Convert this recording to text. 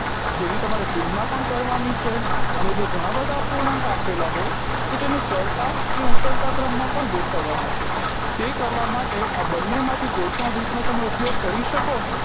જેની તમારે તુલના પણ કરવાની છે અને જો ઘણા બધા અપૂર્ણાંક આપેલા હોય તો તેને ચડતા કે ઉતરતા ક્રમમા પણ ગોઠવવાના છે તે કરવા માટે આ બંનેમાંથી કોઈ પણ રીતનો ઉપયોગ કરી શકો